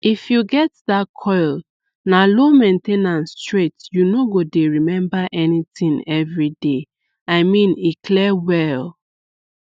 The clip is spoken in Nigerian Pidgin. if you get that coil na low main ten ance straight you no go dey remember anything every day i mean e clear well